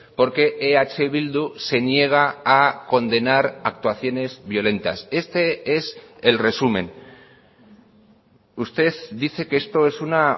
porque eh bildu se niega a condenar actuaciones violentas este es el resumen usted dice que esto es una